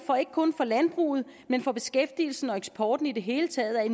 ikke kun for landbruget men for beskæftigelsen og eksporten i det hele taget